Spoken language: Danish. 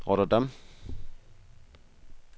Rotterdam